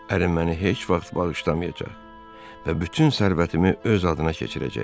Ərim məni heç vaxt bağışlamayacaq və bütün sərvətimi öz adına keçirəcək.